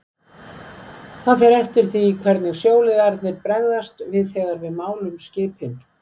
Það fer eftir því hvernig sjóliðarnir bregðast við þegar við málum skipin